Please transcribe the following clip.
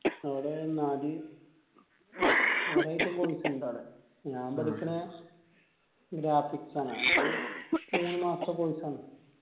നമ്മളെ കൊറേ item course ഇണ്ട് അവിടെ ഞാൻ graphics ആണ്. അത് മൂന്ന് മാസത്തെ course ആണ്.